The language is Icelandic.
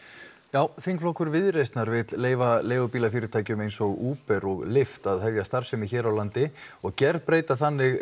já þingflokkur Viðreisnar vill leyfa leigubílafyrirtækjum eins og Uber og lyft að hefja starfsemi hér á landi og gerbreyta þannig